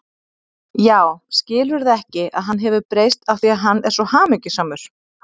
Já, skilurðu ekki að hann hefur breyst af því að hann er svo hamingjusamur.